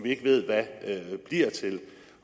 ikke ved hvad bliver til